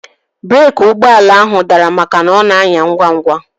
Breeki ụgbọala ahu dara makana ọ na anya ngwa ngwa